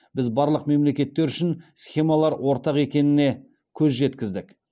біз барлық мемлекеттер үшін схемалар ортақ екеніне көз жеткіздік